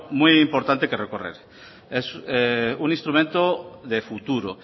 muy importante que recorrer es un instrumento de futuro